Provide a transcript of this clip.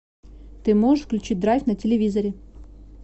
ты можешь включить драйв на телевизоре